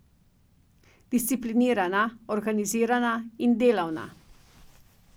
Disciplinirana, organizirana in delavna.